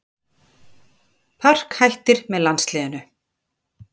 Park hættir með landsliðinu